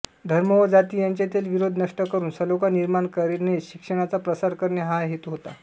धर्म व जाति यांच्यातील विरोध नष्ट करून सलोखा निर्माण करणेशिक्षणाचा प्रसार करणे हा हेतू होता